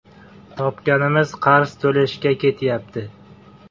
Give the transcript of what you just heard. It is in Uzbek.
Topganimiz qarz to‘lashga ketyapti.